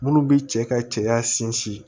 Minnu bi cɛ ka cɛya sinsin